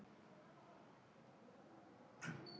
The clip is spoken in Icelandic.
Og það kom heldur engin lögga.